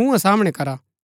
मूँहा सामणै करा